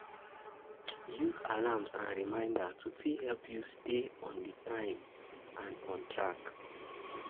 Use alarms and reminder to fit help you stay on time and on track